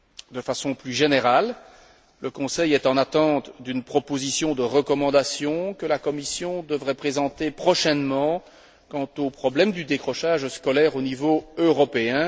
De façon plus générale, le Conseil est en attente d'une proposition de recommandation que la Commission devrait présenter prochainement quant au problème du décrochage scolaire au niveau européen.